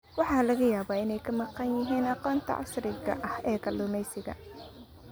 Waxaa laga yaabaa inay ka maqan yihiin aqoonta casriga ah ee kalluumeysiga.